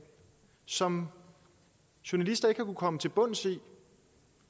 som journalister ikke har kunnet komme til bunds i